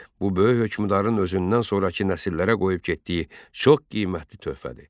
Bu böyük hökmdarın özündən sonrakı nəsillərə qoyub getdiyi çox qiymətli töhfədir.